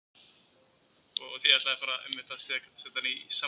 Julia, heyrðu í mér eftir fimmtíu og fimm mínútur.